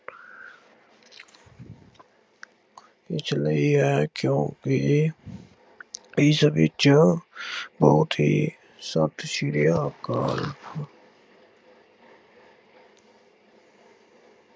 ਵਿੱਚ ਲਈ ਹੈ ਕਿਉਂਕਿ ਇਸ ਵਿੱਚ ਬਹੁਤ ਹੀ, ਸਤਿ ਸ਼੍ਰੀ ਅਕਾਲ।